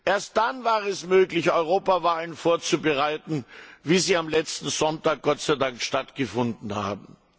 erst dann war es möglich, Europawahlen vorzubereiten, wie sie am letzten Sonntag Gott sei Dank stattgefunden haben.